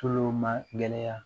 Tulo magɛlɛya